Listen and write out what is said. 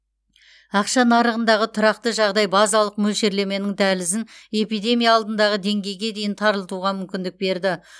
ақша нарығындағы тұрақты жағдай базалық мөлшерлеменің дәлізін эпидемия алдындағы деңгейге дейін тарылтуға мүмкіндік берді